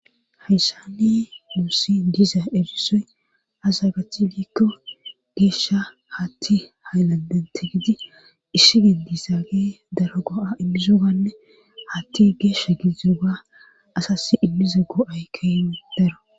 hayssani nuussi diza erisoy aze gattiyoy giikko geeshsha hatti haylanden tigidi isiben dizaagee daro go7a immizoganne hatti geeshsha gididooga asassi immiza go7ay keehi daro.